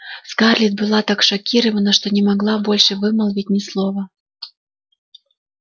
скарлетт была так шокирована что не могла больше вымолвить ни слова